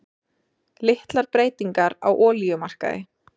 Litlar breytingar á olíumarkaði